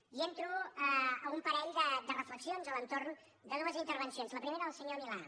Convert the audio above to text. i entro a un parell de reflexions a l’entorn de dues intervencions la primera la del senyor milà